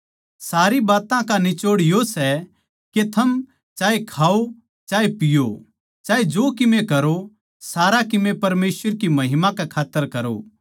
सारी बात्तां का निचोड़ यो सै के थम चाहे खाओ चाहे पीओ चाहे जो कीमे करो सारा कीमे परमेसवर की महिमा कै खात्तर करो